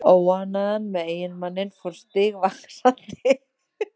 Óánægjan með eiginmanninn fór stigvaxandi.